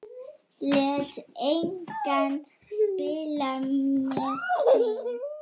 Lét engan spila með sig.